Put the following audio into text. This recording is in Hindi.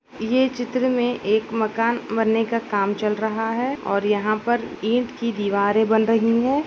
ये चित्र में एक मकान बन्ने का काम चल रहा है और यहाँ पर ईंट की दीवारें बन रहीं हैं ।